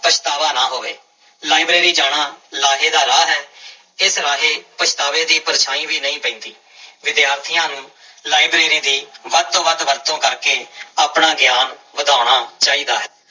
ਪਛਤਾਵਾ ਨਾ ਹੋਵੇ ਲਾਇਬ੍ਰੇਰੀ ਜਾਣਾ ਲਾਹੇ ਦਾ ਰਾਹ ਹੈ ਇਸ ਰਾਹੇ ਪਛਤਾਵੇ ਦੀ ਪਰਛਾਂਈ ਵੀ ਨਹੀਂ ਪੈਂਦੀ, ਵਿਦਿਆਰਥੀਆਂ ਨੂੰ ਲਾਇਬ੍ਰੇਰੀ ਦੀ ਵੱਧ ਤੋਂ ਵੱਧ ਵਰਤੋਂ ਕਰਕੇ ਆਪਣਾ ਗਿਆਨ ਵਧਾਉਣਾ ਚਾਹੀਦਾ ਹੈ।